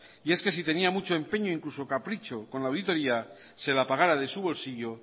y es que si tenía mucho empeño incluso capricho con la auditoría se la pagara de su bolsillo